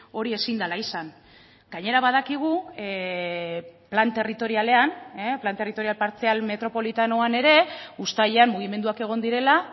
hori ezin dela izan gainera badakigu plan territorialean plan territorial partzial metropolitanoan ere uztailean mugimenduak egon direla